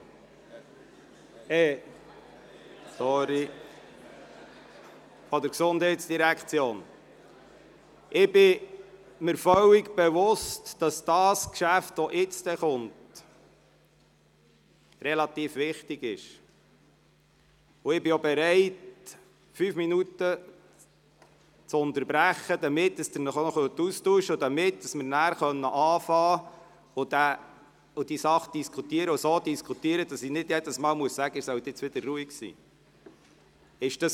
Ich bin mir völlig bewusst, dass das jetzt folgende Geschäft relativ wichtig ist, und ich bin bereit, fünf Minuten zu unterbrechen, damit Sie sich austauschen können und damit wir nachher beginnen und die Sache diskutieren können, ohne dass ich immer wieder um Ruhe bitten muss.